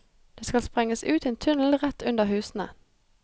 Det skal sprenges ut en tunnel rett under husene.